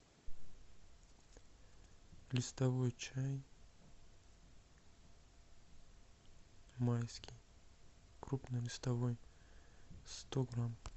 листовой чай майский крупнолистовой сто грамм